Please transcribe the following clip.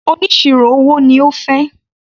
Oníṣirò owó ni ó fẹ́.